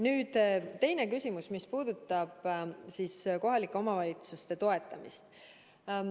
Nüüd teine küsimus, see, mis puudutab kohalike omavalitsuste toetamist.